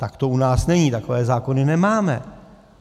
Tak to u nás není, takové zákony nemáme.